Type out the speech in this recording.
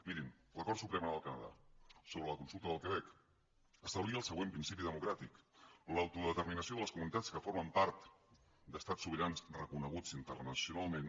mirin la cort suprema del canadà sobre la consulta del quebec establia el següent principi democràtic l’autodeterminació de les comunitats que formen part d’estats sobirans reconeguts internacionalment